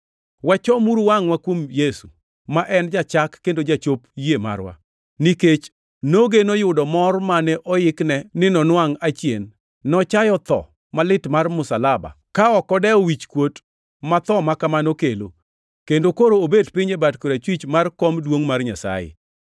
Wachomuru wangʼwa kuom Yesu, ma en jachak kendo jachop yie marwa. Nikech nogeno yudo mor mane oikne ni nonwangʼ achien, nochayo tho malit mar msalaba ka ok odewo wichkuot ma tho ma kamano kelo, kendo koro obet piny e bat korachwich mar kom duongʼ mar Nyasaye.